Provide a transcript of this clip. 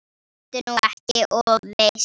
Vertu nú ekki of viss.